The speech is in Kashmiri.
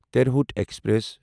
ترہٚوت ایکسپریس